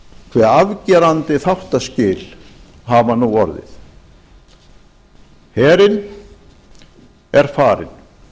hve afgerandi þáttaskil hafa nú orðið herinn er farinn